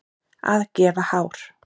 Að gefa hár